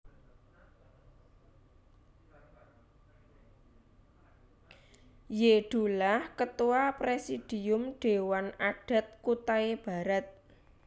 Y Dullah Ketua Presidium Dewan Adat Kutai Barat